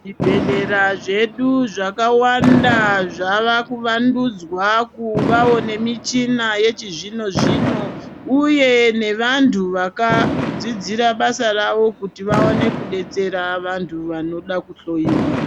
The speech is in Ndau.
Zvibhehlera zvedu zvakawanda zvavakuvandudzwa kuvawo nemichina yechizvino zvino uye nevantu vakadzidzira basa ravo kuti vawone kudetsera vantu vanode kuhloyiwa.